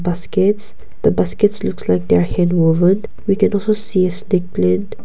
baskets the baskets looks like they are hand woven we can also see .